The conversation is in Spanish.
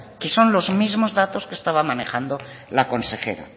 que son los mismos datos que estaba manejando la consejera